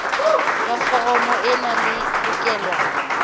ya foromo ena e lokelwa